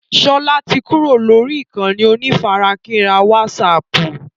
Sọlá tí kúrò lórí ìkànnì onífarakínra wásààpù